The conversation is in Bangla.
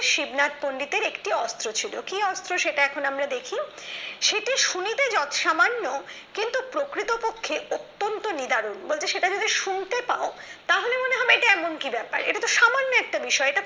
শিবনাথ পন্ডিতের একটি অস্ত্র ছিল কি অস্ত্র সেটা এখন আমরা দেখি সেটি শুনিতে যত সামান্য কিন্তু প্রকৃতপক্ষে অত্যান্ত নির্ধারণ বলতে সেটা যদি শুনতে পাও তাহলে মনে হবে এটা এমন কি ব্যাপার এটা তো সামান্য একটা বিষয়